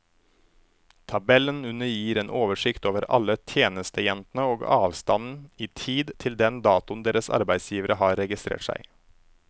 Tabellen under gir en oversikt over alle tjenestejentene og avstanden i tid til den datoen deres arbeidsgivere har registrert seg.